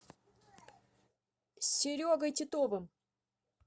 серегой титовым